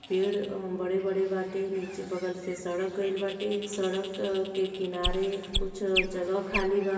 पेड़ अं बड़े-बड़े बाटे। नीचे बगल से सड़क गइल बाटे सड़क-अ के किनारे कुछ जगह खाली बा --